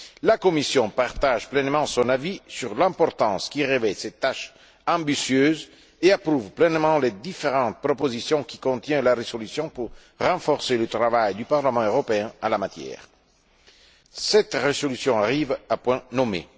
La Commission partage pleinement son avis sur l'importance que revêt cette tâche ambitieuse et approuve pleinement les différentes propositions que contient la résolution pour renforcer le travail du Parlement européen en la matière. Cette résolution arrive à point nommé.